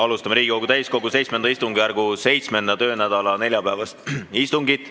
Alustame Riigikogu täiskogu VII istungjärgu 7. töönädala neljapäevast istungit.